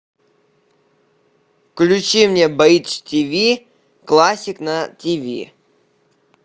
включи мне бридж тв классик на тв